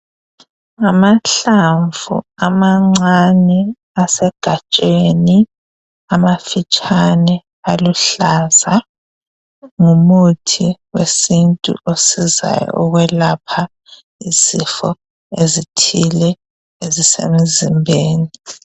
Ngamahlamvu amancane asegajeni amafitshane, aluhlaza, ngumuthi wesintu osizayo ukwelapha izifo ezithile ezisemzimbeni.